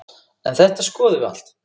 En þetta skoðum við allt.